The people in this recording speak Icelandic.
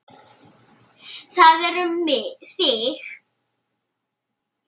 Það er um þig.